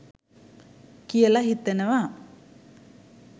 කියලා හිතනවා.